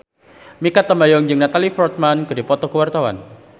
Mikha Tambayong jeung Natalie Portman keur dipoto ku wartawan